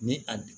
Ni a